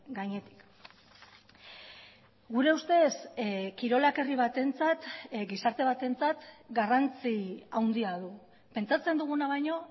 gainetik gure ustez kirolak herri batentzat gizarte batentzat garrantzi handia du pentsatzen duguna baino